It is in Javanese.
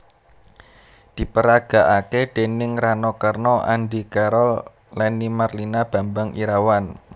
Diperagakake déning Rano Karno Andy Carol Lenny Marlina Bambang Irawan